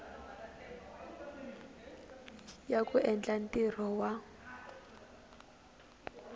ya ku endla ntirho wa